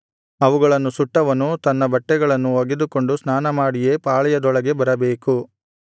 ಅವುಗಳನ್ನು ಸುಟ್ಟವನು ತನ್ನ ಬಟ್ಟೆಗಳನ್ನು ಒಗೆದುಕೊಂಡು ಸ್ನಾನಮಾಡಿಯೇ ಪಾಳೆಯದೊಳಗೆ ಬರಬೇಕು